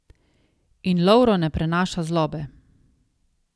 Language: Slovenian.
In Lovro ne prenaša zlobe.